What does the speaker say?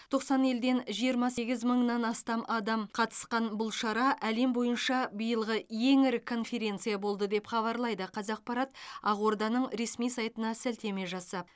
тоқсан елден жиырма сегіз мыңнан астам адам қатысқан бұл шара әлем бойынша биылғы ең ірі конференция болды деп хабарлайды қаақпарат ақорданың ресми сайтына сілтеме жасап